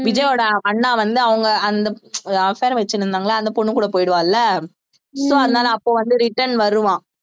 விஜய்யோட அண்ணா வந்து அவங்க அந்த affair வச்சிருந்தாங்கல்ல அந்த பொண்ணு கூட போயிடுவால்ல so அதனால அப்ப வந்து return வருவான்